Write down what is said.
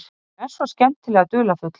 Hún er svo skemmtilega dularfull.